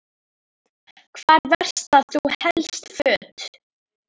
Hvar verslar þú helst föt?